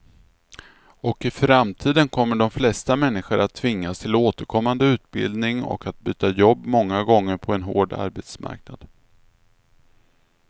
Och i framtiden kommer de flesta människor att tvingas till återkommande utbildning och att byta jobb många gånger på en hård arbetsmarknad.